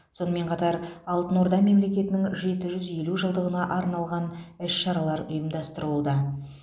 сонымен қатар алтын орда мемлекетінің жеті жүз елу жылдығына арналған іс шаралар ұйымдастырылуда